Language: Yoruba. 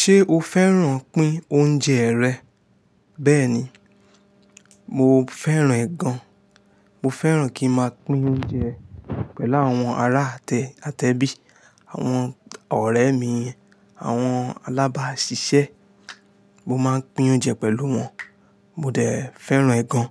Ṣé o fẹ́ràn pín oúnjẹ rẹ? Bẹ́ẹ̀ni, mo fẹ́ràn ẹ̀ gan. Mo fẹ́ràn kí n máa pín oúnjẹ pẹ̀lú àwọn ará atẹ́bí, àwọn ọ̀rẹ́ mi, àwọn alábàáṣiṣẹ́. Mo máa ń pín oúnjẹ pẹ̀lú wọn. Mo dẹ̀ fẹ́ràn ẹ̀ gan